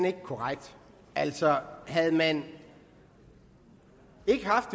ikke korrekt altså havde man ikke haft